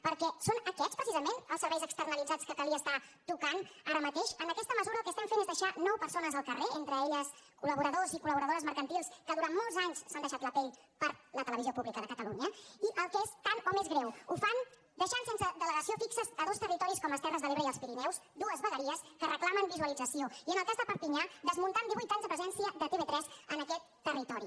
perquè són aquests precisament els serveis externalitzats que calia tocar ara mateix amb aquesta mesura el que fem és deixar nou persones al carrer entre elles colcol·deixat la pell per la televisió pública de catalunya i el que és tan o més greu ho fan deixant sense delegació fixa dos territoris com les terres de l’ebre i els pirineus dues vegueries que reclamen visualització i en el cas de perpinyà desmuntant divuit anys de presència de tv3 en aquest territori